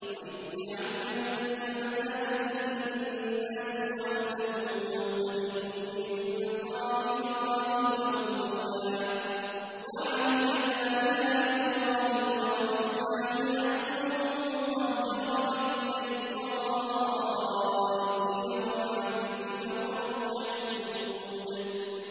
وَإِذْ جَعَلْنَا الْبَيْتَ مَثَابَةً لِّلنَّاسِ وَأَمْنًا وَاتَّخِذُوا مِن مَّقَامِ إِبْرَاهِيمَ مُصَلًّى ۖ وَعَهِدْنَا إِلَىٰ إِبْرَاهِيمَ وَإِسْمَاعِيلَ أَن طَهِّرَا بَيْتِيَ لِلطَّائِفِينَ وَالْعَاكِفِينَ وَالرُّكَّعِ السُّجُودِ